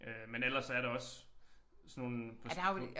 Øh men ellers så er der også sådan nogle på på